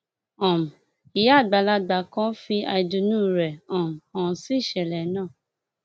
um ìyá àgbàlagbà kan fi àìdùnnú rẹ um hàn sí ìṣẹlẹ náà